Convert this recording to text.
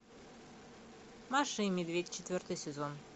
маша и медведь четвертый сезон